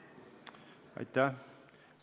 Aitäh!